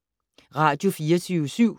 Radio24syv